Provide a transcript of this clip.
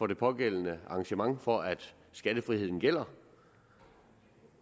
det pågældende arrangement for at skattefriheden gælder